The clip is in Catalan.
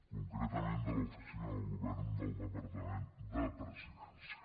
concretament de l’oficina del govern del departament de presidència